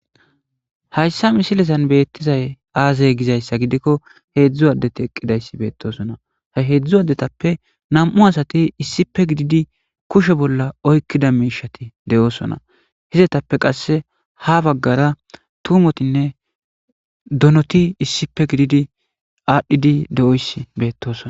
hayssa misilesan beettizay aazay gizayssa gidikko heedzdzu addeti eqqidayssi beettosona he heedzdzu adetappe nam7u asati issipe gididi kushe bolla oykkida miishati de7oosona hizatappe qasse ha baggara tumotinne donoti issipe gididi aadhdhidi de7oys beettosona